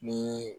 Ni